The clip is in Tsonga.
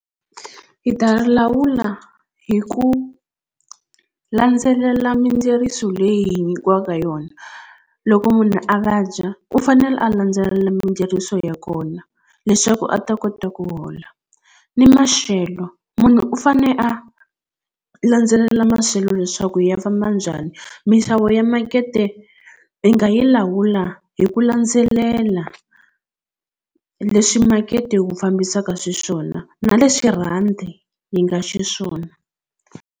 Hi ta lawula hi ku landzelela mindzeriso leyi hi nyikiwaka yona loko munhu a vabya u fanele a landzelela mindzeriso ya kona leswaku a ta kota ku hola ni maxelo munhu u fane a landzelela maxelo leswaku ya famba njhani minxavo ya makete i nga yi lawula hi ku landzelela leswi makete wu fambisaka xiswona na leswi rhandi yi nga xiswona.